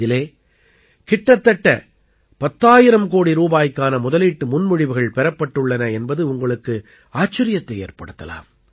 இதிலே கிட்டத்தட்ட 10000 கோடி ரூபாய்க்கான முதலீட்டு முன்மொழிவுகள் பெறப்பட்டுள்ளன என்பது உங்களுக்கு ஆச்சரியத்தை ஏற்படுத்தலாம்